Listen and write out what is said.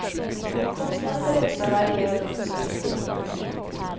Kostnaden för detta varierar dock något.